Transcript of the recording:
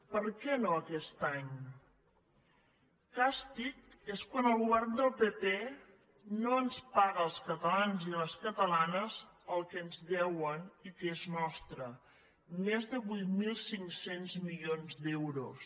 per què no aquest any càstig és quan el govern del pp no ens paga als cata·lans i a les catalanes el que ens deuen i que és nostre més de vuit mil cinc cents milions d’euros